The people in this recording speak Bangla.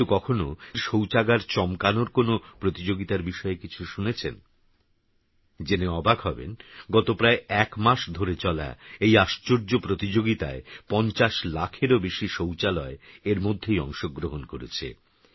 কিন্তুকখনওশৌচাগারচমকানোরকোনওপ্রতিযোগিতারবিষয়েকিছুশুনেছেন জেনেঅবাকহবেনগতপ্রায়একমাসধরেচলাএইআশ্চর্যপ্রতিযোগিতায়৫০লাখেরওবেশিশৌচালয়এরমধ্যেইঅংশগ্রহণকরেছে